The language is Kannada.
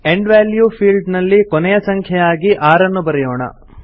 ಎಂಡ್ ವ್ಯಾಲ್ಯೂ ಫೀಲ್ಡ್ ನಲ್ಲಿ ಕೊನೆಯ ಸಂಖ್ಯೆಯಾಗಿ 6 ನ್ನು ಬರೆಯೋಣ